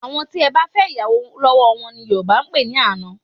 Àwọn tí ẹ bá fẹ́ ìyàwò lọ́wọ́ wọn ni Yorùbá ń pè ní àna